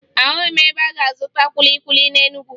Ahụghị m ebe m ga-azụta kwili kwili na Enugwu